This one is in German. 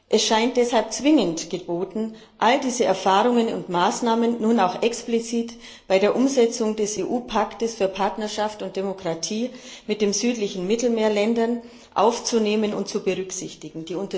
Es scheint deshalb zwingend geboten, all diese Erfahrungen und Maßnahmen nun auch explizit bei der Umsetzung des EU Pakts für Partnerschaft und Demokratie mit den südlichen Mittelmeerländern aufzunehmen und zu berücksichtigen.